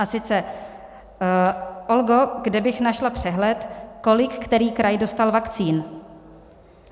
A sice: "Olgo, kde bych našla přehled, kolik který kraj dostal vakcín?"